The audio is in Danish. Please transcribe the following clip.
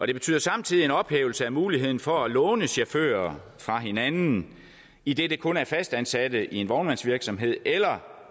det betyder samtidig en ophævelse af muligheden for at låne chauffører fra hinanden idet det kun er fastansatte i en vognmandsvirksomhed eller